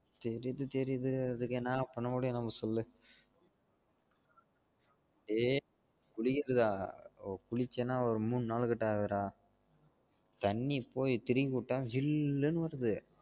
தெரிது தெரிது அதுக்கு ஏன்னா பண்ண முடியும் நம்ம சொல்லு ஏ புரியுது டா குளிச்சானா ஒரு மூணு நாலு கிட்டவாவது டா தண்ணி போயி திருகிவிட்டா ஜில்லுனு வருது